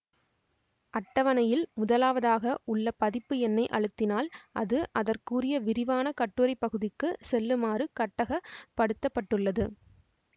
அட்டவணையில் முதலாவதாக உள்ள பதிப்பு எண்ணை அழுத்தினால் அது அதற்குரிய விரிவான கட்டுரைப்பகுதிக்கு செல்லுமாறு கட்டகப் படுத்தப்பட்டுள்ளது